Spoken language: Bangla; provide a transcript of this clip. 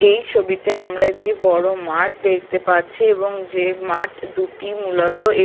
এই ছবিতে আমরা একটি বড় মাঠ দেখতে পাচ্ছি এবং যে মাঠ দুটি মূলত এ--